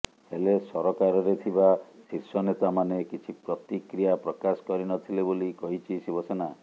ହେଲେ ସରକାରରେ ଥିବା ଶୀର୍ଷ ନେତାମାନେ କିଛି ପ୍ରତିକ୍ରିୟା ପ୍ରକାଶ କରିନଥିଲେ ବୋଲି କହିଛି ଶିବସେନା